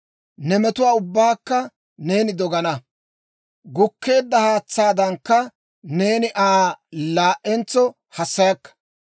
Ne metuwaa ubbaakka neeni dogana; gukkeedda haatsaadan, neeni Aa laa"entso hassayakka.